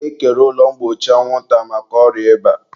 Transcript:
e kere ụlọ mgbochi anwụnta maka ọrịa ịba.